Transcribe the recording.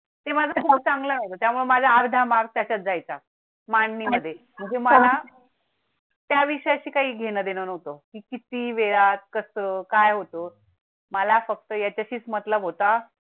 ते माझा भाऊ चांगला होता. त्यामुळे माझा अर्धा मार्ग त्याच्यात जायचा मांडणी मधे म्हणजे मला त्याविषया शी काही घेणं देणं होतो. किती वेळात कसं काय होतो मला फक्त त्याच्याशीच मतलब होता